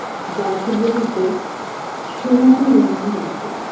গাছ গুলিতে সোনালী রঙের apple